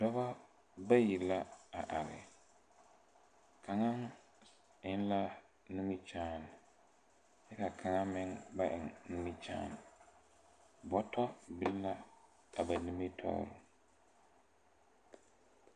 Dɔbɔ bayi la a are kaŋa eŋ la nimikyaane ka kaŋa meŋ ba eŋ nimikyaane bɔtɔ biŋ la a ba nimitoore.